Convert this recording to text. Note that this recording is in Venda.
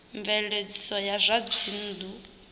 mveledziso ya zwa dzinnu zwi